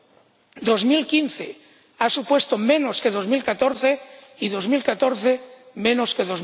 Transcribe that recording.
El año 2015 ha supuesto menos que 2014 y 2014 menos que